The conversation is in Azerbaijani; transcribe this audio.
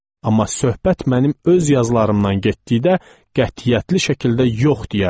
Amma söhbət mənim öz yazılarımdan getdikdə qətiyyətli şəkildə yox deyərdi.